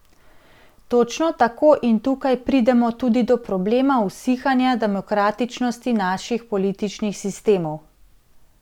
Točno tako in tukaj pridemo tudi do problema usihanja demokratičnosti naših političnih sistemov.